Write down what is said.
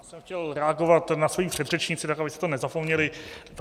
Já jsem chtěl reagovat na svoji předřečnici, tak abyste to nezapomněli.